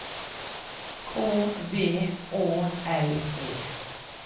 K V Å L E